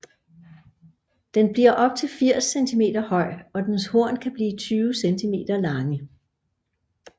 Den bliver op til 80 cm høj og dens horn kan blive 20 cm lange